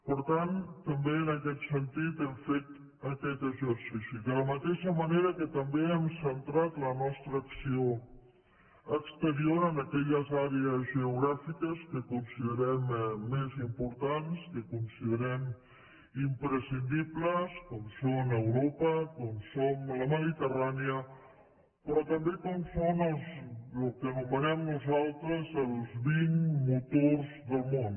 per tant també en aquest sentit hem fet aquest exercici de la mateixa manera que també hem centrat la nostra acció exterior en aquelles àrees geogràfiques que considerem més importants que considerem imprescindibles com són europa com són la mediterrània però també com són el que anomenen nosaltres els vint motors del món